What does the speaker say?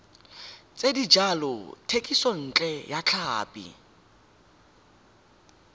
tsa dijalo thekisontle ya tlhapi